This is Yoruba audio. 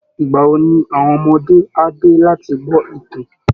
Ìgbà wo ni àwọn ọmọdé á dé láti gbọ́ ìtàn?